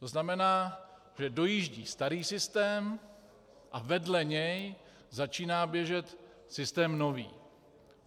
To znamená, že dojíždí starý systém a vedle něj začíná běžet systém nový.